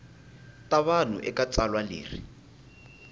ta vanhu eka tsalwa leri